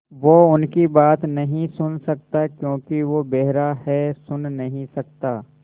वो उनकी बात नहीं सुन सकता क्योंकि वो बेहरा है सुन नहीं सकता